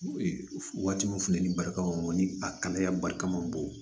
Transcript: Waati min funteni balikaw ni a kalaya barika ma bon